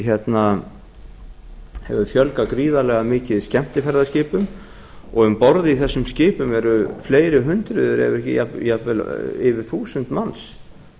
einnig hefur fjölgað gríðarlega mikið skemmtiferðaskipum og um borð í þessum skipum eru fleiri hundruð ef ekki jafnvel yfir þúsund manns